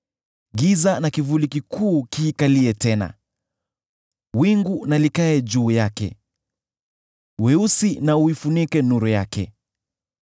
Giza na kivuli kikuu kiikalie tena; wingu na likae juu yake; weusi na uifunike nuru yake.